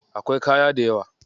Akwai kaya dayawa.